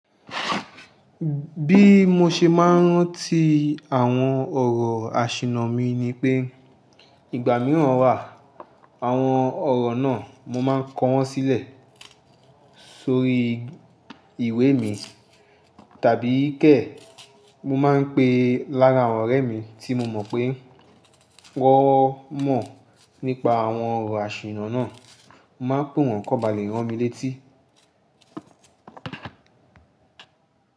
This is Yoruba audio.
Bí mo ṣe máa ń rántí àwọn ọ̀rọ̀ àṣìńnà mi ni pé, ìgbà mìíràn wà, àwọn ọ̀rọ̀ náà mo máa ń kọ wọ́n sílẹ̀ sórí ìwé mi, tàbí kẹ̀, mo máa ń pe lára àwọn ọ̀rẹ́ mi tí mo mọ̀ pé wọ́n mọ̀ nípa àwọn ọ̀rọ̀ àṣìńnà náà, mo máa ń pé wọ́n kó ba lè rántí mi létí.